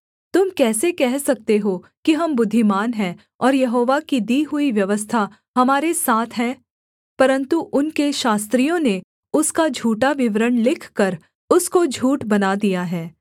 तुम कैसे कह सकते हो कि हम बुद्धिमान हैं और यहोवा की दी हुई व्यवस्था हमारे साथ है परन्तु उनके शास्त्रियों ने उसका झूठा विवरण लिखकर उसको झूठ बना दिया है